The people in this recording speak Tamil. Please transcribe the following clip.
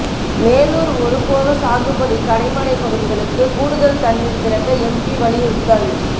மேலூா் ஒருபோக சாகுபடி கடைமடை பகுதிகளுக்கு கூடுதல் தண்ணீா் திறக்க எம்பி வலியுறுத்தல்